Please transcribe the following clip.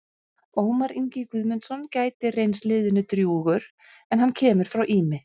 Ómar Ingi Guðmundsson gæti reynst liðinu drjúgur en hann kemur frá Ými.